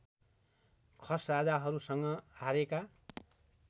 खस राजाहरूसँग हारेका